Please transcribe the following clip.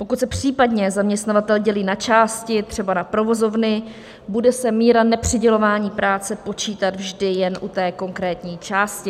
Pokud se případně zaměstnavatel dělí na části, třeba na provozovny, bude se míra nepřidělování práce počítat vždy jen u té konkrétní části.